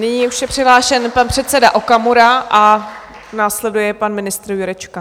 Nyní je už přihlášen pan předseda Okamura a následuje pan ministr Jurečka.